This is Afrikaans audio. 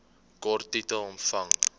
kort titel omvang